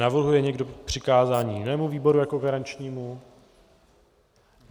Navrhuje někdo přikázání jinému výboru jako garančnímu?